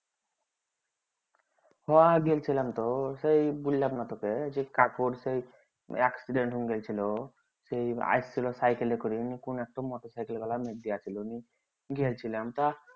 হ হ গিয়েছিলাম তো সেই বুইল্লাম না তোকে যে কাকুর সেই accident সেই আইসছিল cycle করে motorcycle গিয়েছিলাম তা